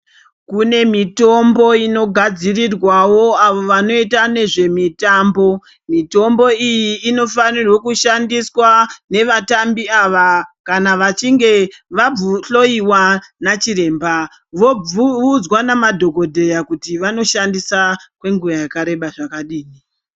Kune mitombo inogadzirirwawo avo vanoita nezvemitambo. Mitombo iyi inofanirwe kushandiswa nevatambi ava kana vachinge vahloyiwa nachiremba. Voudzwa nemadhogodheya kuti vanoshandisa kwenguva yakareba zvakadini.